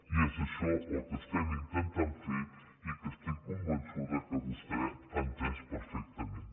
i és això el que estem intentant fer i que estic convençuda que vostè ha entès perfectament